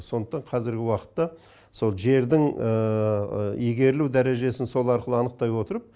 сондықтан қазіргі уақыта сол жердің игерілу дәрежесін сол арқылы анықтай отырып